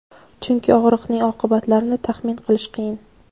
chunki og‘riqning oqibatlarini taxmin qilish qiyin.